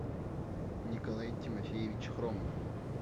николай тимофеевич хромов